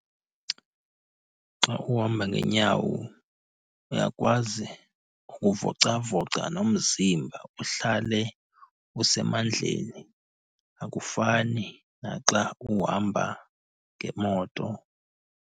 Xa uhamba ngeenyawo uyakwazi ukuvocavoca nomzimba uhlale usemandleni, akufani naxa uhamba ngemoto.